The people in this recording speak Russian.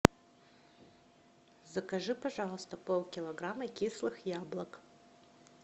закажи пожалуйста полкилограмма кислых яблок